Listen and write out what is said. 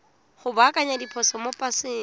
go baakanya diphoso mo paseng